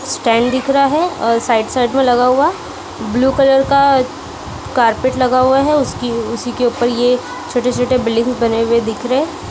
सस्टाइल दिख रहा है और साइड साइड में लगा हुआ ब्लू कलर का कार्पेट लगा हुआ है उसकी उसी के ऊपर यह छोटे-छोटे बिल्डिंग बने हुए दिख रहे--